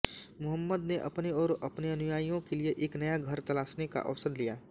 मुहम्मद ने अपने और अपने अनुयायियों के लिए एक नया घर तलाशने का अवसर लिया